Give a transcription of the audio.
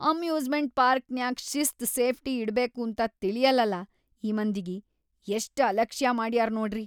Amusement ಪಾರ್ಕ್‌ನ್ಯಾಗ್ ಶಿಸ್ತ್ safety ಇಡಬೇಕಂತೂ ತಿಳಿಯಲ್ಲಲಾ ಈ ಮಂದಿಗಿ.. ಎಷ್ಟ್‌ ಅಲಕ್ಷ್ಯಾ ಮಾಡ್ಯಾರ್‌ ನೋಡ್ರಿ!